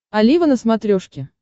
олива на смотрешке